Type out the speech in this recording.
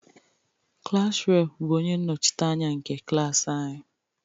Klass reepụ bụ onye nnọchiteanya nke klaasị anyi.